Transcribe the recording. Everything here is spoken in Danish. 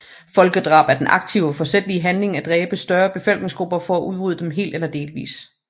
Folkedrab er den aktive og forsætlige handling at dræbe større befolkningsgrupper for at udrydde dem helt eller delvist